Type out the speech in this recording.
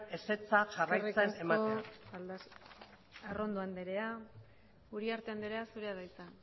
ezetza jarraitzen ematea eskerrik asko arrondo anderea uriarte anderea zurea da hitza